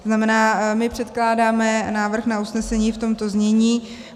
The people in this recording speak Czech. To znamená, my předkládáme návrh na usnesení v tomto znění: